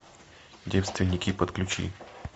девственники подключи